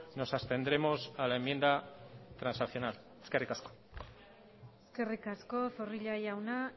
nos abstendremos a la enmienda transaccional eskerri asko eskerrik asko zorrilla jauna